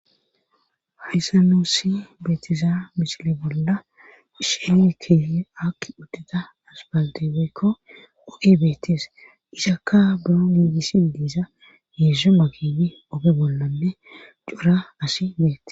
hayssa nuusi beetiza misile bolla shene kiy akki uddita asifalete woykko oge beettes isakka buro niigisi diisa hedzdzu makin oge bollanne cora asi beettes